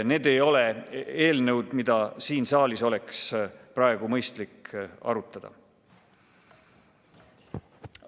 Need ei ole eelnõud, mida siin saalis oleks praegu mõistlik arutada.